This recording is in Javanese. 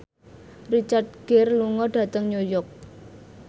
Richard Gere lunga dhateng New York